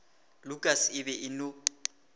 lukas e be e no